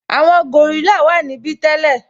Àwọn gòrílà wà níbí tẹ́lẹ̀